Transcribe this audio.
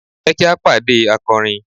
Jẹ ki a pade akọrin